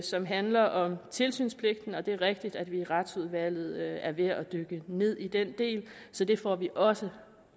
som handler om tilsynspligten og det er rigtigt at vi i retsudvalget er ved at dykke ned i den del så det får vi også